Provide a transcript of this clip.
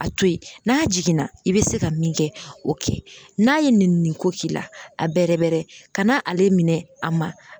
A to ye n'a jiginna i bɛ se ka min kɛ o kɛ, n'a ye nɛnini ko k'i la, a bɛrɛ bɛrɛ ka na ale minɛ a ma